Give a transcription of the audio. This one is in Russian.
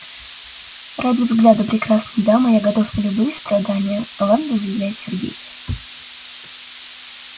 ради взгляда прекрасной дамы я готов на любые страдания галантно заявляет сергей